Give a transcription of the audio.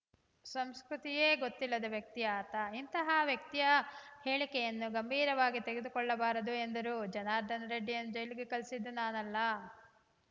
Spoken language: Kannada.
ಸಂಸ್ಕೃತಿಯೇ ಗೊತ್ತಿಲ್ಲದ ವ್ಯಕ್ತಿ ಆತ ಇಂತಹ ವ್ಯಕ್ತಿಯ ಹೇಳಿಕೆಯನ್ನು ಗಂಭೀರವಾಗಿ ತೆಗೆದುಕೊಳ್ಳಬಾರದು ಎಂದರು ಜನಾರ್ದನ ರೆಡ್ಡಿಯನ್ನು ಜೈಲಿಗೆ ಕಳುಹಿಸಿದ್ದು ನಾನಲ್ಲ